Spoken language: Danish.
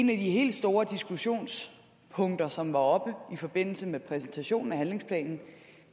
de helt store diskussionspunkter som var oppe i forbindelse med præsentationen af handlingsplanen